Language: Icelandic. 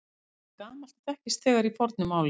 Það er gamalt og þekkist þegar í fornu máli.